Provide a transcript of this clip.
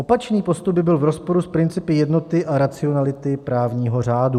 Opačný postup by byl v rozporu s principy jednoty a racionality právního řádu.